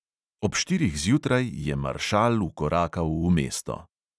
Ob štirih zjutraj je maršal vkorakal v mesto.